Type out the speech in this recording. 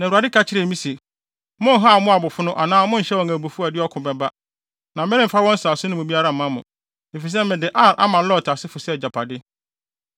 Na Awurade ka kyerɛɛ me se, “Monnhaw Moabfo no anaa monhyɛ wɔn abufuw a ɛde ɔko bɛba, na meremfa wɔn nsase no mu biara mma mo. Efisɛ mede Ar ama Lot asefo sɛ agyapade.”